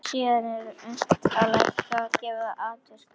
sem síðan er unnt að lækka og eftir atvikum greiða út.